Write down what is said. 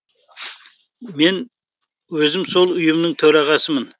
мен өзім сол ұйымның төрағасымын